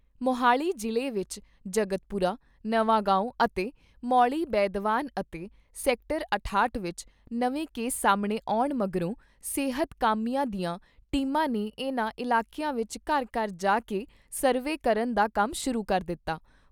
ਮੋਹਾਲੀ ਜਿਲ੍ਹੇ ਵਿਚ ਜਗਤਪੁਰਾ ਨਵਾਗਾਉਂ ਅਤੇ ਮੌਲੀ ਬੈਦਵਾਨ ਅਤੇ ਸੈਕਟਰ ਅਠਾਹਟ ਵਿਚ ਨਵੇਂ ਕੇਸ ਸਾਹਮਣੇ ਆਉਣ ਮਗਰੋਂ ਸਿਹਤ ਕਾਮਿਆਂ ਦੀਆਂ ਟੀਮਾਂ ਨੇ ਇਨ੍ਹਾਂ ਇਲਾਕਿਆਂ ਵਿਚ ਘਰ ਘਰ ਜਾ ਕੇ ਸਰਵੇ ਕਰਨ ਦਾ ਕੰਮ ਸ਼ੁਰੂ ਕਰ ਦਿੱਤਾ।